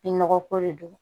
I nɔgɔ ko de don